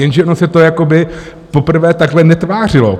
Jenže ono se to jakoby poprvé takhle netvářilo.